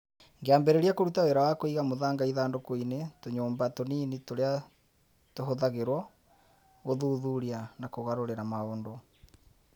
Ngĩambĩrĩria kũruta wĩra wa kũiga mũthanga ithandũkũ-inĩ tũnyũmba tũnini tũrĩa tũhũthagĩrũo gũthuthuria na kũgarũrĩra maũndũ